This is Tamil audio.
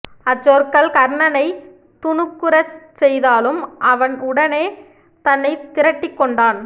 அச்சொற்கள் கர்ணனை துணுக்குறச் செய்தாலும் அவன் உடனே தன்னை திரட்டிக்கொண்டான்